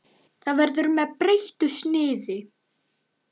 Hann verður með breyttu sniði.